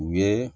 U ye